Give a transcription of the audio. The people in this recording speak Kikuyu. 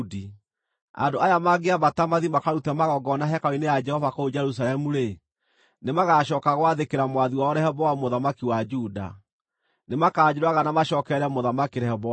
Andũ aya mangĩambata mathiĩ makarute magongona hekarũ-inĩ ya Jehova kũu Jerusalemu-rĩ, nĩmagacooka gwathĩkĩra mwathi wao Rehoboamu mũthamaki wa Juda. Nĩmakanjũraga na macookerere Mũthamaki Rehoboamu.”